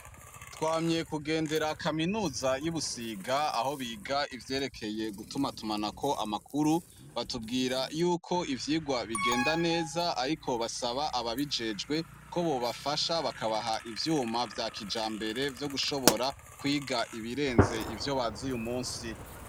twamye kugendera kaminuza y'ubusiga aho biga ivyerekeye gutuma tumanako amakuru batubwira yuko ivyigwa bigenda neza ariko basaba ababijejwe ko bobafasha bakabaha ivyuma vya kijambere vyo gushobora kwiga ibirenze ivyo bazi uyu munsi